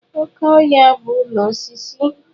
Oke ohia bu ulo osisi.